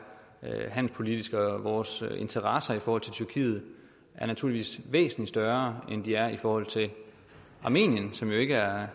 handelspolitisk og vores interesser i forhold til tyrkiet er naturligvis væsentlig større end de er i forhold til armenien som jo ikke er